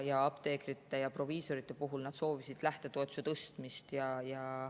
Apteekrid ja proviisorid soovisid lähtetoetuse tõstmist.